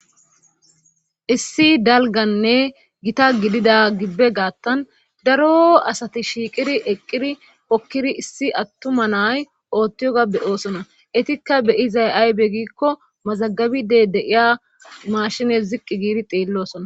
Issi dalgganne Gita gidida gibben gaathan daro Asati shiiqidi eqqidi issi attuma na7ay oottiyoga be7iosona etikka be7izay aaze giikko mazabiidde de7iya mmashine ziqqi gididi xeellosona.